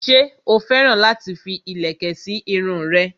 ṣé ó féràn láti fi ìlẹ̀kẹ̀ sí irun rẹ̀?